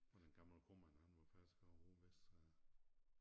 Ham den gamle kromand han var faktisk herovre vestfra